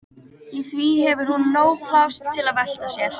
Í því hefur hún nóg pláss til að velta sér.